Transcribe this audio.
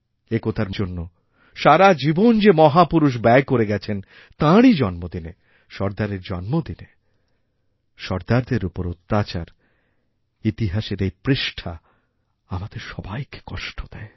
একতার জন্য সারা জীবন যে মহাপুরুষ ব্যয় করে গেছেন তাঁরই জন্মদিনে সর্দারেরজন্মদিনে সর্দারদের উপর অত্যাচার ইতিহাসের এই পৃষ্ঠা আমাদের সবাইকে কষ্ট দেয়